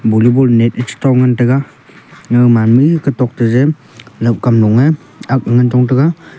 volleyball net net e chitong ngan taiga gawman me e katok te je laohkam loe ak ngan chong taiga.